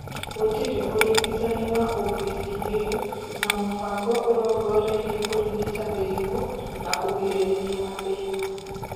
Gũtirĩ ũrigitani wa OPCA, na mũbango ũrongoreirie kũrigita mĩrimũ na kũgirĩrĩria mathĩna.